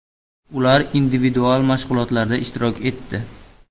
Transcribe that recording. Ular individual mashg‘ulotlarda ishtirok etdi.